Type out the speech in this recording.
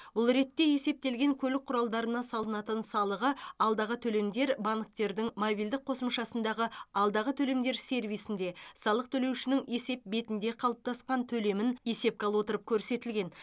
бұл ретте есептелген көлік құралдарына салынатын салығы алдағы төлемдер банктердің мобильдік қосымшасындағы алдағы төлемдер сервисінде салық төлеушінің есеп бетінде қалыптасқан төлемін есепке ала отырып көрсетілген